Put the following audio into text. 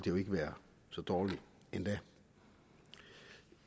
jo ikke være så dårligt endda